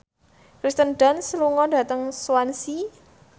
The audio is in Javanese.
Kirsten Dunst lunga dhateng Swansea